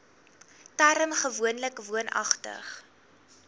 term gewoonlik woonagtig